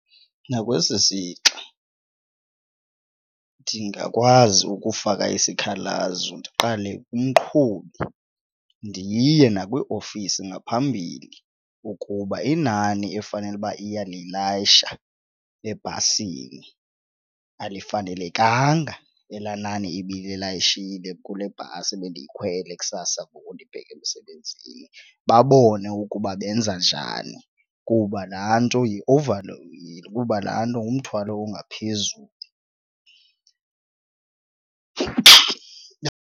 Nakwesi sixa ndingakwazi ukufaka isikhalazo ndiqale umqhubi ndiye nakwiiofisi ngaphambili ukuba inani efanele uba iyalilayisha ebhasini alifanelekanga elaa nani ibililayishile kule bhasi ebendiyikhwele kusasa ngoku ndibheka emsebenzini, babone ukuba benza njani kuba laa nto over kuba laa nto ngumthwalo ongaphezulu.